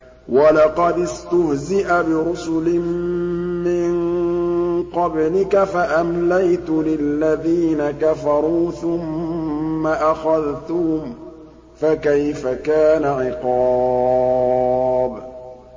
وَلَقَدِ اسْتُهْزِئَ بِرُسُلٍ مِّن قَبْلِكَ فَأَمْلَيْتُ لِلَّذِينَ كَفَرُوا ثُمَّ أَخَذْتُهُمْ ۖ فَكَيْفَ كَانَ عِقَابِ